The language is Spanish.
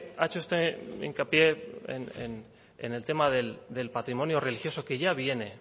ha hecho usted hincapié en el tema del patrimonio religioso que ya viene